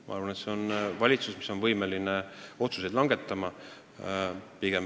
Ma arvan, et meil on valitsus, kes on võimeline otsuseid langetama.